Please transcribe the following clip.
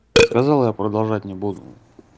сказал я продолжать не буду